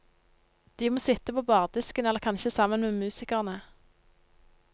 De må sitte på bardisken eller kanskje sammen med musikerne.